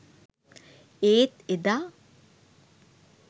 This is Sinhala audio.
ඒත් එදා